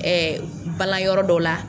Ɛɛ bala yɔrɔ dɔw la.